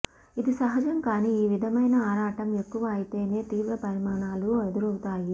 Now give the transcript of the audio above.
ఇది సహజం కానీ ఈ విధమైన ఆరాటం ఎక్కువ అయితేనే తీవ్ర పరిణామాలు ఎదురవుతాయి